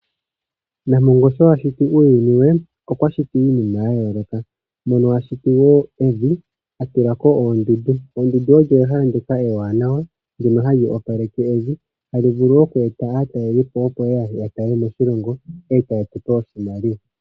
Nampongo sho ashiti uuyuni we okwa shiti wo iinima ya yoolokothana mono ashiti evi eta tulako oondundu. Oondundu odho ehala ndyoka ewanawa hali eta aatalelipo moshilongo etaya eta iimaliwa.